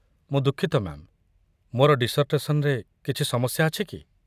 ମୁଁ ଦୁଃଖିତ, ମ୍ୟା'ମ୍, ମୋର ଡିସର୍ଟେସନ୍‌ରେ କିଛି ସମସ୍ୟା ଅଛି କି?